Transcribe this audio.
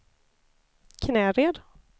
Knäred